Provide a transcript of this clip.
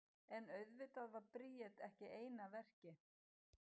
En auðvitað var Bríet ekki ein að verki.